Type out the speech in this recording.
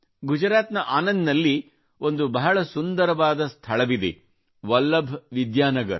ಗುಜರಾತ್ ನ ಆನಂದ್ ನಲ್ಲಿ ಒಂದು ಬಹಳ ಸುಂದರವಾದ ಸ್ಥಳವಿದೆ ಅದೆಂದರೆ ವಲ್ಲಭ್ ವಿದ್ಯಾನಗರ್